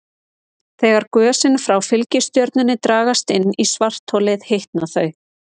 Þegar gösin frá fylgistjörnunni dragast inn í svartholið hitna þau.